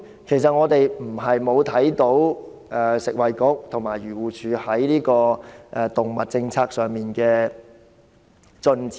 其實我們不是看不到食物及衞生局和漁護署在動物政策上的進展。